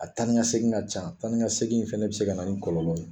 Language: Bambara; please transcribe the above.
A taa ni ka segin ka can taa ni ka segin in fana bɛ se ka na nin kɔlɔlɔ ye.